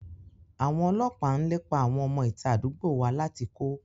Àwọn ọlọ́pàá ń lépa àwọn ọmọ ìta àdúgbò wa láti kó